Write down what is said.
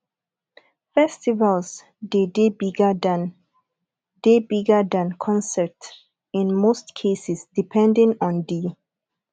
festivals de dey bigger than dey bigger than concerts in most cases depending on di